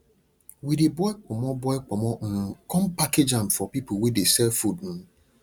we dey boil ponmo boil ponmo um come package am for people wey de sell food um